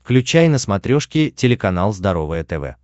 включай на смотрешке телеканал здоровое тв